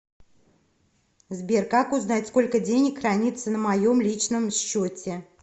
сбер как узнать сколько денег храниться на моем личном счете